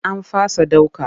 An fasa ɗauka.